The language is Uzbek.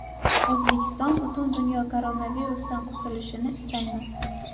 O‘zbekiston, butun dunyo koronavirusdan qutulishini istaymiz.